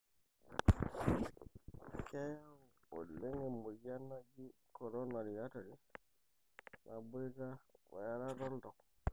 keyau oleng emoyian naaji coronary artery. naboita wearata oltau.